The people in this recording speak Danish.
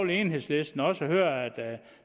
enhedslisten også høre at